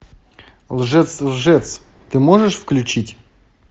лжец лжец ты можешь включить